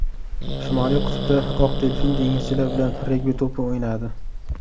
Shimoliy qutbda oq delfin dengizchilar bilan regbi to‘pi o‘ynadi .